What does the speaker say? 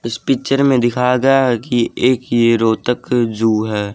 इस पिक्चर में दिखाया गया है कि एक ये रोहतक जू है।